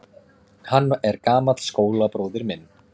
Hann er gamall skólabróðir minn.